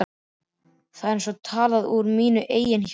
Þetta er eins og talað úr mínu eigin hjarta.